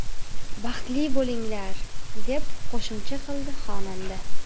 Baxtli bo‘linglar!”, deb qo‘shimcha qildi xonanda.